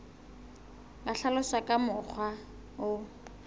ka hlaloswa ka mokgwa o